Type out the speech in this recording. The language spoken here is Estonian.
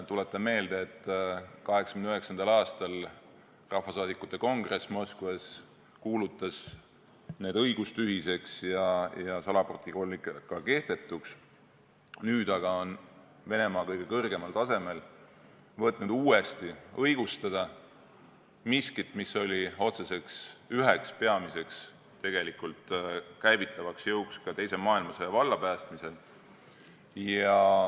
Tuletan meelde, et 1989. aastal kuulutas Rahvasaadikute Kongress Moskvas need õigustühiseks ja salaprotokollid ka kehtetuks, nüüd aga on Venemaa kõige kõrgemal tasemel võtnud uuesti õigustada miskit, mis oli otseselt üheks peamiseks käivitavaks jõuks teise maailmasõja vallapäästmisel.